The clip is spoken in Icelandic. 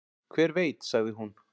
"""Hver veit, sagði hún."""